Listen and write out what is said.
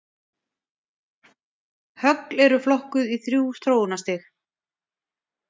Högl eru flokkuð í þrjú þróunarstig.